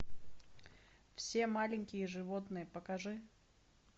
все маленькие животные покажи